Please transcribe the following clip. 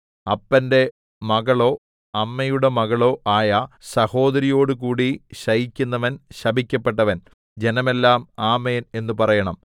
അപ്പന്റെ മകളോ അമ്മയുടെ മകളോ ആയ സഹോദരിയോടുകൂടി ശയിക്കുന്നവൻ ശപിക്കപ്പെട്ടവൻ ജനമെല്ലാം ആമേൻ എന്നു പറയണം